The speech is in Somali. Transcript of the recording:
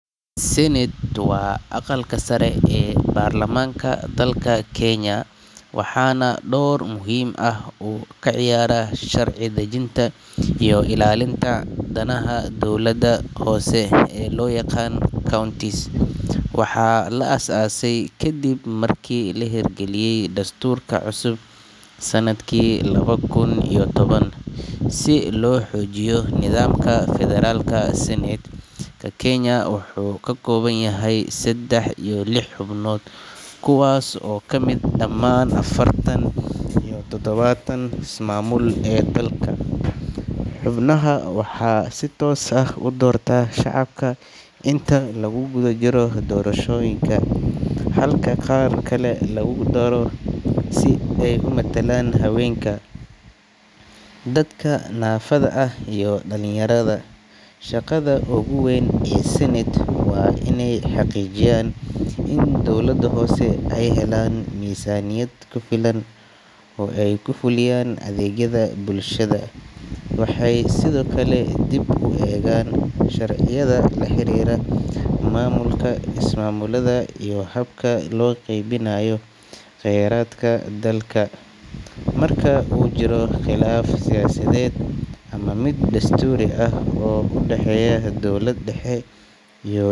Senate waa aqalka sare ee baarlamaanka dalka Kenya, waxaana door muhiim ah uu ka ciyaaraa sharci dejinta iyo ilaalinta danaha dowladaha hoose ee loo yaqaan counties. Waxaa la aasaasay kadib markii la hirgeliyay dastuurka cusub sanadkii laba kun iyo toban, si loo xoojiyo nidaamka federaalka. Senate ka Kenya wuxuu ka kooban yahay saddex iyo lix xubnood, kuwaas oo ka yimaada dhammaan afartan iyo toddobada ismaamul ee dalka. Xubnaha waxaa si toos ah u doorta shacabka inta lagu jiro doorashada guud, halka qaar kale lagu daro si ay matalaan haweenka, dadka naafada ah iyo dhalinyarada. Shaqada ugu weyn ee senate waa inay xaqiijiyaan in dowladaha hoose ay helaan miisaaniyad ku filan oo ay ku fuliyaan adeegyada bulshada. Waxay sidoo kale dib u eegaan sharciyada la xiriira maamulka ismaamulada iyo habka loo qeybinayo kheyraadka dalka. Marka uu jiro khilaaf siyaasadeed ama mid dastuuri ah oo u dhexeeya dowlad dhexe iyo.